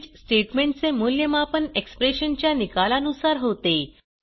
switch statement चे मूल्यमापन expression च्या निकाला नुसार होते